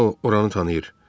Sau oranı tanıyır.